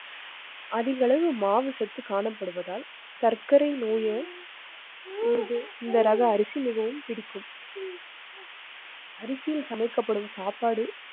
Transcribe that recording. அதிகளவு மாவுசத்து காணப்படுவதால் சர்க்கரை நோயை. இது இந்த ரக அரிசி மிகவும் பிடிக்கும். அரிசியில் சமைக்கப்படும் சாப்பாடு